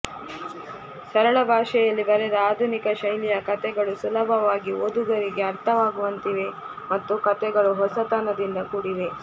ಸರಳ ಭಾಷೆಯಲ್ಲಿ ಬರೆದ ಆಧುನಿಕ ಶೈಲಿಯ ಕಥೆಗಳು ಸುಲಭವಾಗಿ ಓದುಗರಿಗೆ ಅರ್ಥವಾಗುವಂತಿವೆ ಮತ್ತು ಕತೆಗಳು ಹೊಸತನದಿಂದ ಕೂಡಿವೆ